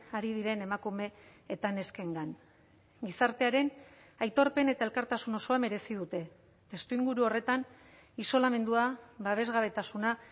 ari diren emakume eta neskengan gizartearen aitorpen eta elkartasun osoa merezi dute testuinguru horretan isolamendua babesgabetasuna